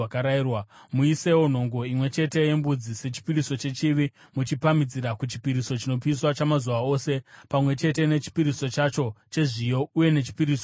Muisewo nhongo imwe chete yembudzi sechipiriso chechivi, muchipamhidzira kuchipiriso chinopiswa chamazuva ose pamwe chete nechipiriso chacho chezviyo uye nechipiriso chokunwa.